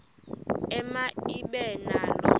ema ibe nalo